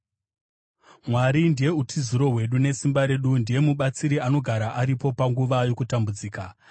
Mwari ndiye utiziro hwedu nesimba redu, ndiye mubatsiri anogara aripo panguva yokutambudzika.